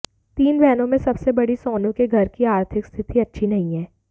तीन बहनों में सबसे बड़ी सोनू के घर की आर्थिक स्थिति अच्छी नहीं है